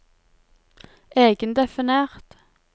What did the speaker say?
egendefinert